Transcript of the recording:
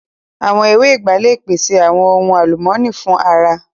Awọn ewé ìgbá le pèṣè awọn ohun alumọni fun ara